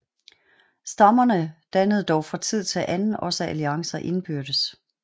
Stammerne dannede dog fra tid til anden også alliancer indbyrdes